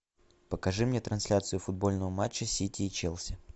покажи мне трансляцию футбольного матча сити и челси